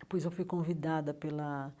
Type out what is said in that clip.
Depois eu fui convidada pela